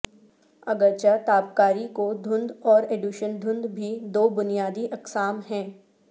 اگرچہ تابکاری کو دھند اور ایڈوشن دھند بھی دو بنیادی اقسام ہیں